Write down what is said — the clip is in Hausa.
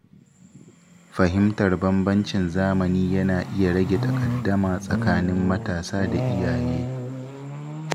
Fahimtar bambancin zamani yana iya rage takaddama tsakanin matasa da iyaye.